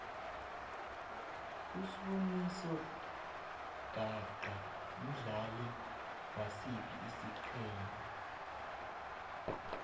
usboniso gaqa mdlali wasiphi isigema